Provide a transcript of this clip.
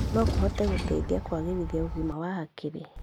no kũhote gũteithia kũagĩrithia ũgima wa hakiri.